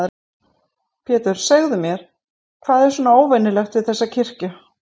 Pétur, segðu mér, hvað er svona óvenjulegt við þessa kirkju?